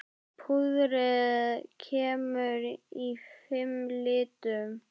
Púðrið kemur í fimm litum.